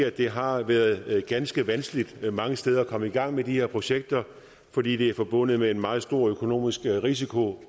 at det har været ganske vanskeligt mange steder at komme i gang med de her projekter fordi det er forbundet med en meget stor økonomisk risiko